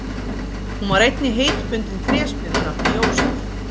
Hún var einnig heitbundin trésmið að nafni Jósef.